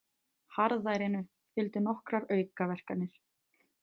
Harðærinu fylgdu nokkrar aukaverkanir.